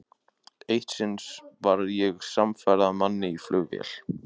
Eitt sinn var ég samferða manni í flugvél.